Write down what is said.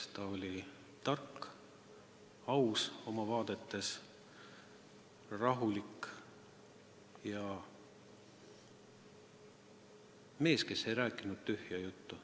Ta oli tark, aus oma vaadetes, rahulik mees, kes ei rääkinud tühja juttu.